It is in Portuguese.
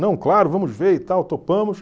Não, claro, vamos ver e tal, topamos.